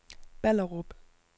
Ballerup